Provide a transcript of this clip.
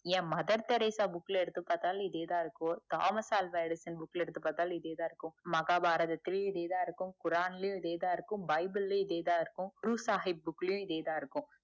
ஏன் mother Teresa book ல பாத்தாலும் இதே தான் இறக்கும் தாமஸ் ஆல்வா எடிசன் book ல எடுத்து பாத்தாலும் இதே தான் இருக்கும் மகாபாரததிலும் இதே தான் இருக்கும் குரான் ளையும் இதே தான் இருக்கும் பைபிள் ளையும் இதே தான் இருக்கும் ஷாஹிப் book ளையும் இதே தான் இருக்கும்